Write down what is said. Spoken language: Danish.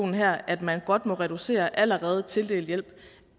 her at man godt må reducere i allerede tildelt hjælp